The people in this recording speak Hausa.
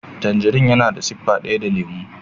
Tangin yana da siffa daya da lemo.